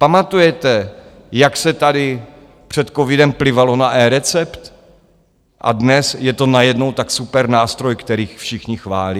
Pamatujete, jak se tady před covidem plivalo na eRecept - a dnes je to najednou tak super nástroj, který všichni chválí?